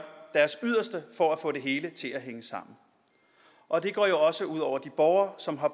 deres yderste for at få det hele til at hænge sammen og det går jo også ud over de borgere som har